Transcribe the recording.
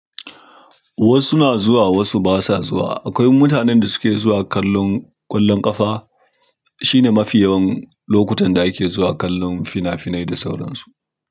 Wasu na zuwa wasu basa zuwa. Akwai mutanen da suke zuwa kallon ƙwallon ƙafa. Shine mafi yawan lokutan da ake zuwa kallon fina-finai da sauran su.